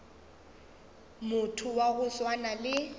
motho wa go swana le